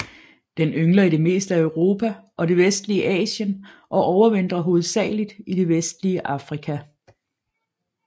Den yngler i det meste af Europa og det vestlige Asien og overvintrer hovedsageligt i det vestlige Afrika